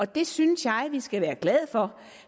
det synes jeg vi skal være glade for